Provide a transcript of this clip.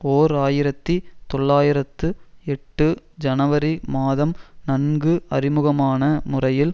ஓர் ஆயிரத்தி தொள்ளாயிரத்து எட்டு ஜனவரி மாதம் நன்கு அறிமுகமான முறையில்